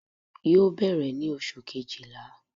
yóò berè ni oṣú kéjíla